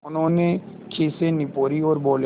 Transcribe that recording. उन्होंने खीसें निपोरीं और बोले